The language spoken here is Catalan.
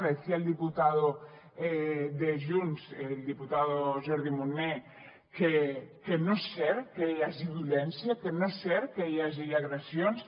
decía el diputado de junts el diputado jordi munell que no és cert que hi hagi violència que no és cert que hi hagi agressions